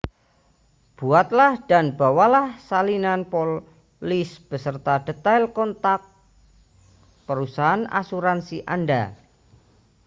buatlah dan bawalah salinan polis beserta detail kontak perusahaan asuransi anda